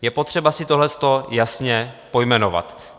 Je potřeba si toto jasně pojmenovat.